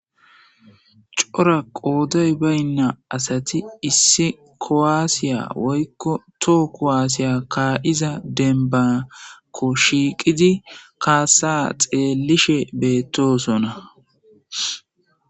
Cora qooday baynna asati issi koaasiya woykko too kowaasiya kaa'iza denbanakko shiiqidi kaassa xeelishe beettosona.